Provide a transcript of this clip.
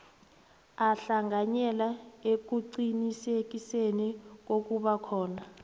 ahlanganyele ekuqinisekiseni kokubakhona